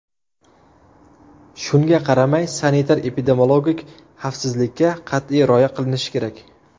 Shunga qaramay, sanitar-epidemiologik xavfsizlikka qat’iy rioya qilinishi kerak.